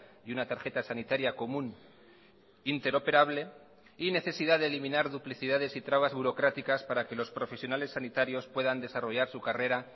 y una tarjeta sanitaria común interoperable y necesidad de eliminar duplicidades y trabas burocráticas para que los profesionales sanitarios puedan desarrollar su carrera